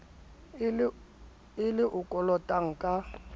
e le o kolotang ka